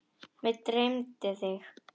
Mig dreymdi þig.